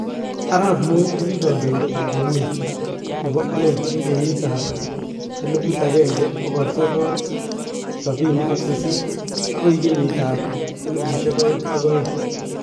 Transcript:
Arap Moi ko ki kandoindet ab emet nebo aeng eng kenyit ab 1978 akoi kenyit ab 2002